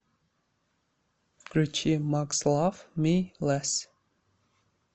включи макс лав ми лэсс